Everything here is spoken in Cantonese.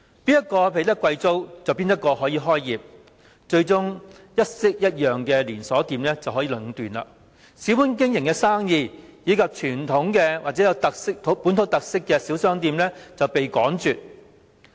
誰付得起貴租便可以開業，最終令一式一樣的連鎖商店得以壟斷，而小本經營的生意，以及有傳統或本土特色的小商店卻被趕絕。